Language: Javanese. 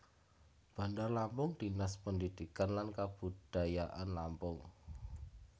Bandar Lampung Dinas Pendidikan dan Kebudayaan Lampung